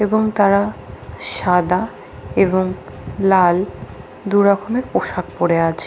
'' এবং তারা সাদা এবং লাল দু''''রকমের পোশাক পড়ে আছে ।''